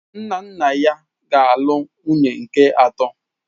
Nna nna ya ga-alụ nwunye nke atọ.